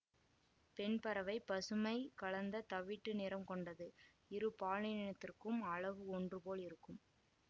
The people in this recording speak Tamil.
பெண்பறவை பசுமை கலந்த தவிட்டு நிறம் கொண்டது இரு பாலினத்திற்கும் அலகு ஒன்று போல இருக்கும்